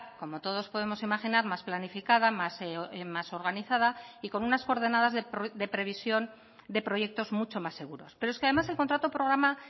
como todos podemos imaginar más planificada más organizada y con unas coordenadas de previsión de proyectos mucho más seguros pero es que además el contrato programa